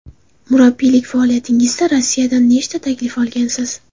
Murabbiylik faoliyatingizda Rossiyadan nechta taklif olgansiz?